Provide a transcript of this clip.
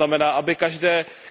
To znamená, aby